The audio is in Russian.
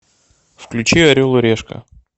включи орел и решка